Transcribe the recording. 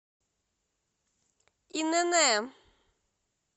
инн